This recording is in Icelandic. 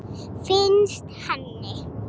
Finnst henni.